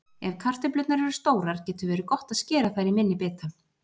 Ef kartöflurnar eru stórar getur verið gott að skera þær í minni bita.